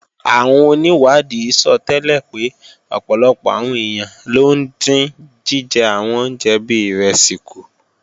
Àwọn onìwádìí sọtẹ́lẹ̀ pé ọ̀pọ̀lọpọ̀ àwọn èèyàn ló ń dín jíjẹ àwọn oúnjẹ bí ìrẹsì kù